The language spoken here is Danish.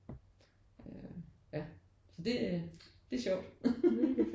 Øh ja så det det er sjovt